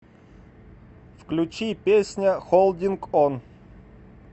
включи песня холдинг он